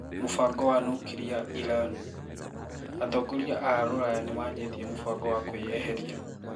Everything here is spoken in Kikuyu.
Mubango wa nuklia Iran: Atongoria aa rũraya nimaanjtie mũbango wa kuĩeheria.